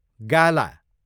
गाला